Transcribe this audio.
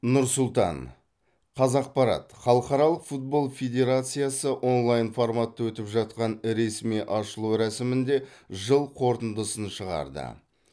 нұр сұлтан қазақпарат халықаралық футбол федерациясы онлайн форматта өтіп жатқан ресми ашылу рәсімінде жыл қорытындысын шығарды